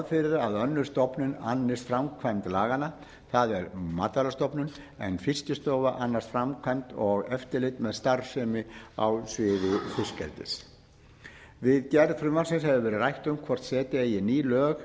fyrir að önnur stofnun annist framkvæmd laganna það er matvælastofnun en fiskistofa annast framkvæmd og eftirlit með starfsemi á sviði fiskeldis við gerð frumvarpsins hefur rætt um hvort setja eigi ný lög